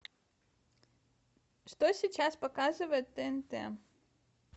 что сейчас показывает тнт